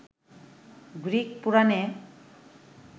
Greek পুরাণে